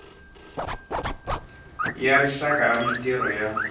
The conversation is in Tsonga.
ya rixaka ya mintirho ya